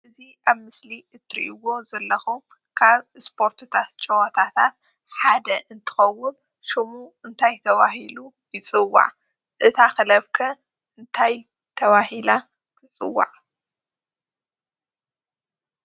እዚ ኣብ ምስሊ እተርእይዎ ዘለኩም ካበ ስፖርትታት ፀወታታት ሓደ እንትከውን ሽሙ እንታይ ተባሂሉ ይፅዋዕ? እታ ክለብ ከ ታይ ተባሂላ ትፅዋዕ?